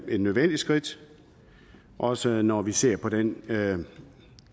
et nødvendigt skridt også når vi ser på den